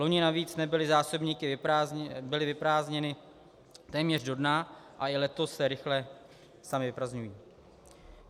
Loni navíc byly zásobníky vyprázdněny téměř do dna a i letos se rychle samy vyprazdňují.